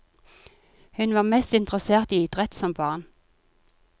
Hun var mest interessert i idrett som barn.